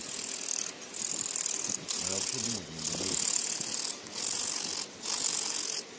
а вообще думать не люблю